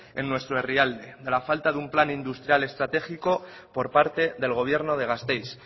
en nuestro herrialde la falta de un plan industrial estratégico por parte del gobierno de gasteiz